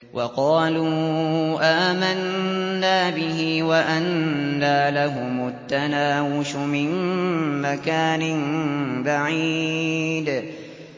وَقَالُوا آمَنَّا بِهِ وَأَنَّىٰ لَهُمُ التَّنَاوُشُ مِن مَّكَانٍ بَعِيدٍ